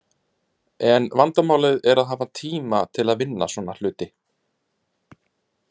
En vandamálið er að hafa tíma til að vinna svona hluti.